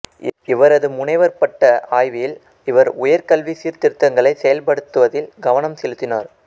இவரது முனைவர் பட்ட ஆய்வில் இவர் உயர் கல்வி சீர்திருத்தங்களை செயல்படுத்துவதில் கவனம் செலுத்தினார்